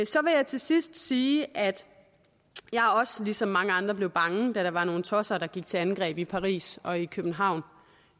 så vil jeg til sidst sige at jeg også ligesom mange andre blev bange da der var nogle tosser der gik til angreb i paris og i københavn